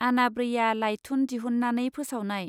आनाब्रैया लाइथुन दिहुननानै फोसावनाय.